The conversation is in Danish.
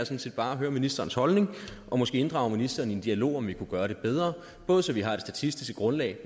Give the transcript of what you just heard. set bare at høre ministerens holdning og måske inddrage ministeren i en dialog om om vi kunne gøre det bedre både så vi har det statistiske grundlag